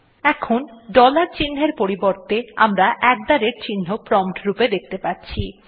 এখন ডলার চিহ্নর পরিবর্তে আমরা আত থে রাতে চিহ্ন প্রম্পট রূপে দেখতে পাচ্ছি